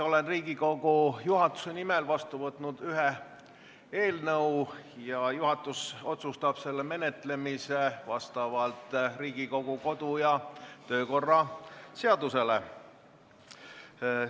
Olen Riigikogu juhatuse nimel vastu võtnud ühe eelnõu, juhatus otsustab selle menetlemise vastavalt Riigikogu kodu- ja töökorra seadusele.